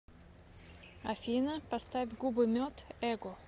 афина поставь губы мед эго